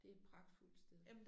Det et pragtfuldt sted